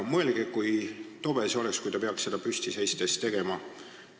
Mõelge, kui tobe see oleks, kui ta peaks seda püsti seistes tegema.